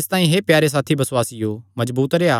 इसतांई हे प्यारे साथी बसुआसियो मजबूत रेह्आ